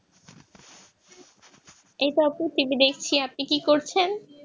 এই তো আপু TV দেখছি আপনি কি করছেন?